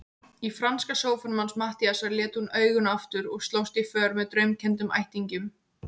Í franska sófanum hans Matthíasar lét hún augun aftur og slóst í för með draumkenndum ættingjum.